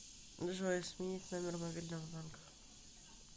джой сменить номер мобильного банка